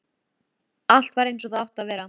Allt var eins og það átti að vera.